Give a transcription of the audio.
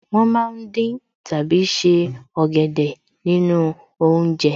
Wọ́n ma ń dín tàbí se ọ̀gẹ̀dẹ̀ nínú oúnjẹ